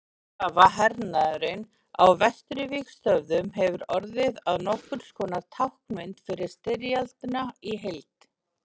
skotgrafahernaðurinn á vesturvígstöðvunum hefur orðið að nokkurs konar táknmynd fyrir styrjöldina í heild